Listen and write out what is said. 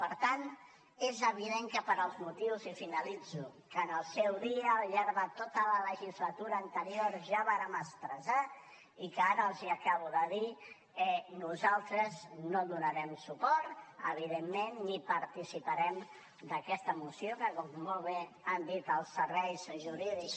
per tant és evident que pels motius i finalitzo que en el seu dia al llarg de tota la legislatura anterior ja vàrem expressar i que ara els acabo de dir nosaltres no donarem suport evidentment ni participarem d’aquesta moció que com molt bé han dit els serveis jurídics